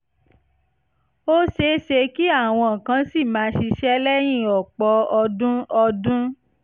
ó ṣe é ṣe kí àwọn kan ṣì máa ṣiṣẹ́ lẹ́yìn ọ̀pọ̀ ọdún ọdún